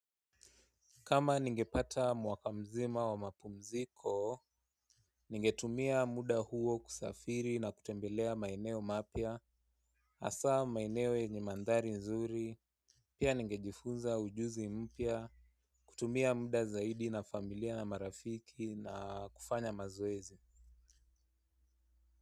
Kama ningepata mwaka mzima wa mapumziko, ningetumia muda huo kusafiri na kutembelea maeneo mapya, hasaa maeneo yenye mandari nzuri, pia ningejifunza ujuzi mpya, kutumia muda zaidi na familia na marafiki na kufanya mazoezi.